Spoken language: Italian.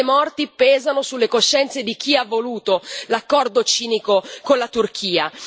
Queste morti pesano sulle coscienze di chi ha voluto l'accordo cinico con la Turchia.